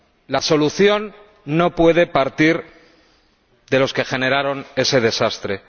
La solución no puede partir de los que generaron ese desastre.